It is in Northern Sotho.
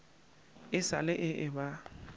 e sa le e eba